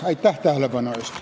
Aitäh tähelepanu eest!